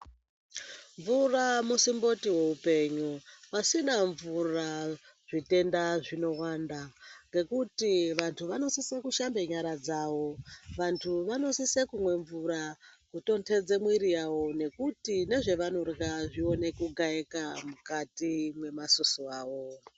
Mvura musimboti weupenyu pasina mvura zvitenda zvinowanda ngekuti vantu vanositse kushamba nyara dzavo , vantu vanositse kumwa mvura kutondodze mwiri yavo nekuti nezvavanorya zvikone kugaika mukati memasusu avo.